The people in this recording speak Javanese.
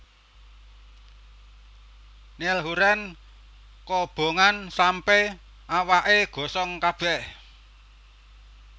Niall Horran kobongan sampe awake gosong kabeh